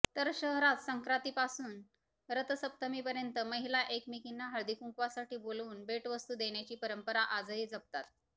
तर शहरात संक्रातीपासून रथसप्तमीपर्यंत महिला एकमेकींना हळदीकुंकवासाठी बोलावून भेटवस्तू देण्याची परंपरा आजही जपतात